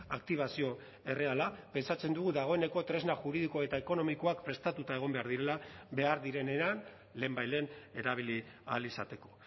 aktibazio erreala pentsatzen dugu dagoeneko tresna juridiko eta ekonomikoak prestatuta egon behar direla behar direnean lehenbailehen erabili ahal izateko